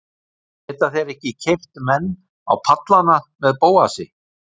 Geta þeir ekki keypt menn á pallana með Bóasi?